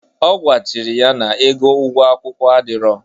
Ọ gwachiri ya na ego ụgwo akwụkwụ adiro.